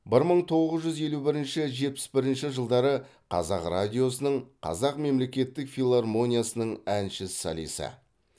бір мың тоғыз жүз елу бірінші жетпіс бірінші жылдары қазақ радиосының қазақ мемлекеттік филармониясының әнші солисі